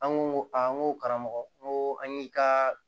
An ko aa n ko karamɔgɔ n ko an y'i ka